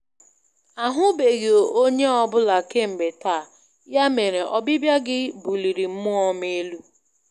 Ahụbeghị onye ọ bụla kemgbe taa, ya mere ọbịbịa gị buliri mmụọ m elu.